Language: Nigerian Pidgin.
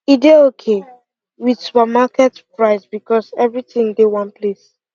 e dey okay with supermarket price because everything dey one place